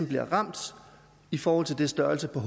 bliver ramt i forhold til størrelsen på